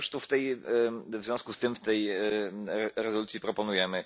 No i cóż w związku z tym w tej rezolucji proponujemy?